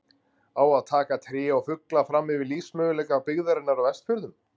Á að taka tré og fugla fram yfir lífsmöguleika byggðarinnar á Vestfjörðum?